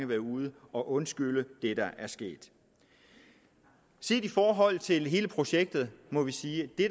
være ude at undskylde det der er sket i forhold til hele projektet må vi sige at det